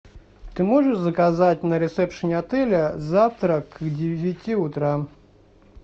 ты можешь заказать на ресепшене отеля завтрак к девяти утра